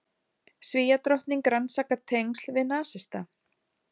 Svíadrottning rannsakar tengsl við nasista